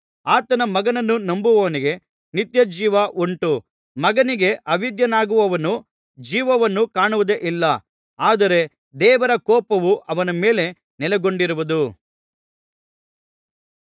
ಆತನ ಮಗನನ್ನು ನಂಬುವವನಿಗೆ ನಿತ್ಯಜೀವ ಉಂಟು ಮಗನಿಗೆ ಅವಿಧೇಯನಾಗುವವನು ಜೀವವನ್ನು ಕಾಣುವುದೇ ಇಲ್ಲ ಆದರೆ ದೇವರ ಕೋಪವು ಅವನ ಮೇಲೆ ನೆಲೆಗೊಂಡಿರುವುದು